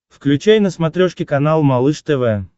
включай на смотрешке канал малыш тв